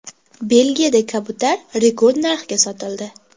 Belgiyada kabutar rekord narxga sotildi.